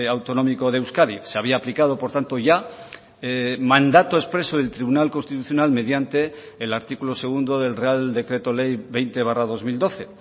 autonómico de euskadi se había aplicado por tanto ya mandato expreso del tribunal constitucional mediante el artículo segundo del real decreto ley veinte barra dos mil doce